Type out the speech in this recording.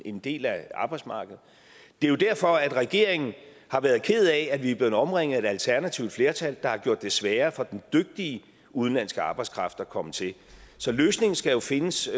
en del af arbejdsmarkedet det er jo derfor at regeringen har været ked af at vi er blevet omringet af et alternativt flertal der har gjort det sværere for den dygtige udenlandske arbejdskraft at komme til så løsningen skal findes